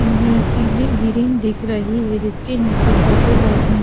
पीली ग्रीन दिख रही है जिसके नीचे सफेद और--